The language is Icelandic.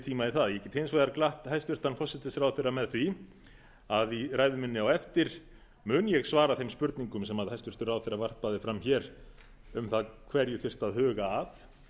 tíma í það ég get hins vegar glatt hæstvirtur forsætisráðherra með því að í ræðu minni á eftir mun ég svara þeim spurningum sem hæstvirtur ráðherra varpaði fram hér um það hverju þyrfti að huga að